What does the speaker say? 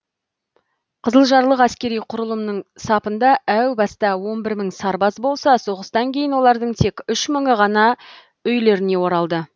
қызылжарлық әскери құрылымның сапында әу баста он бір мың сарбаз болса соғыстан кейін олардың тек үш мыңы ғана үйлеріне оралды